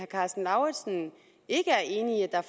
karsten lauritzen ikke er enig i at der